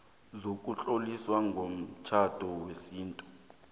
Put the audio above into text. sokutlolisa umtjhado wesintu